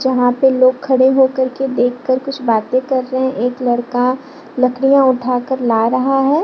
जहां पे लोग खड़े होकर के देखकर कुछ बाते कर रहे है एक लड़का लकड़ियां उठाकर ला रहा है।